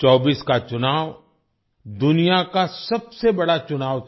24 का चुनाव दुनिया का सबसे बड़ा चुनाव था